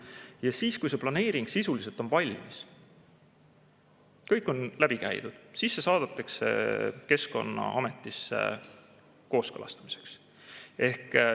Ja kui see planeering sisuliselt on valmis, kõik on läbi käidud, siis see saadetakse Keskkonnaametisse kooskõlastamiseks.